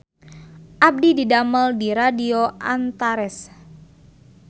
Abdi didamel di Radio Antares